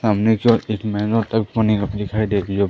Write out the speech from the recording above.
सामने की ओर एक महंगा टप पानी कप दिखाई दे री हो--